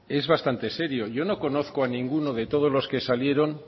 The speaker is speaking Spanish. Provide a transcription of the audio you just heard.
es bastante serio yo no conozco a ninguno de todos los que salieron